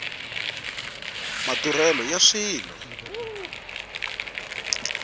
maduvhelo ya swilo